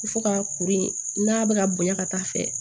Fo ka kuru in n'a bɛ ka bonya ka taa fɛ